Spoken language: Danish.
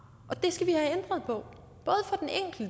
og